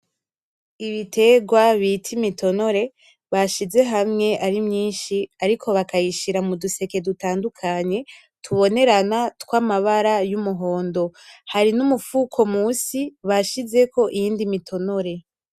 Ibiterwa bita imitonore, bashize hamwe ari myinshi ariko bakayishira muduseke dutandukanye tubonerana tw'amabara y'umuhondo. Hari n'umufuko munsi, bashizeko iyindi mitonore.